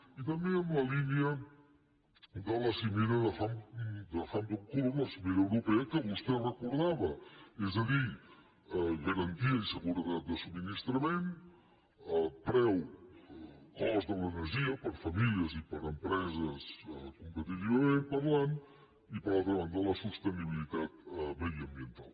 i també en la línia de la cimera de hampton court la cimera europea que vostè recordava és a dir garantia i seguretat de subministrament preu cost de l’energia per a famílies i per a empreses competitivament parlant i per altra banda la sostenibilitat mediambiental